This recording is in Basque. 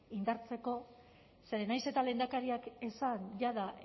indartzeko zeren nahiz eta lehendakariak esan jada